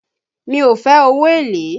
Mi ò fe owó èlé